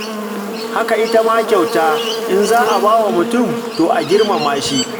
Haka ita ma kyauta, in za a ba wa mutum, to a girmama shi.